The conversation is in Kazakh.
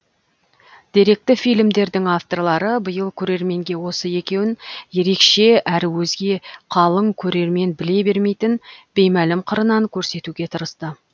деректі фильмдердің авторлары биыл көрерменге осы екеуін ерекше әрі өзге қалың көрермен біле бермейтін беймәлім қырынан көрсетуге тырысты